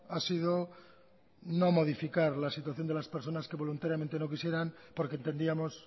ha sido no modificar la situación de las personas que voluntariamente no quisieran porque entendíamos